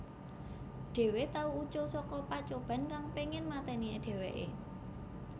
Dhewe tau ucul saka pacoban kang pengin mateni dheweke